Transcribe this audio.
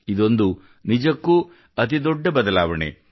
ಇದೊಂದು ನಿಜಕ್ಕೂ ಅತಿ ದೊಡ್ಡ ಬದಲಾವಣೆ